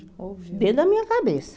Dentro da minha cabeça.